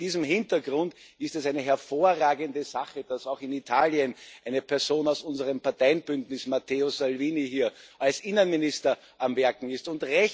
Vor diesem Hintergrund ist es eine hervorragende Sache, dass auch in Italien eine Person aus unserem Parteienbündnis, Matteo Salvini, als Innenminister am Werken ist.